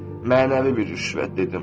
Mənəvi bir rüşvət dedim.